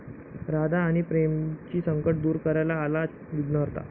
राधा आणि प्रेमची संकटं दूर करायला आलाय विघ्नहर्ता